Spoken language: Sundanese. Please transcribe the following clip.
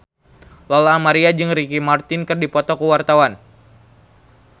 Lola Amaria jeung Ricky Martin keur dipoto ku wartawan